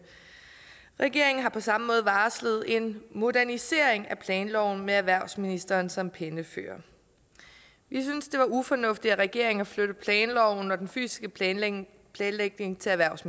regeringen har på samme måde varslet en modernisering af planloven med erhvervsministeren som pennefører vi synes det var ufornuftigt af regeringen at flytte planloven og den fysiske planlægning planlægning til erhvervs